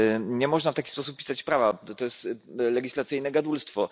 Nie można w taki sposób pisać prawa, gdyż jest to legislacyjne gadulstwo.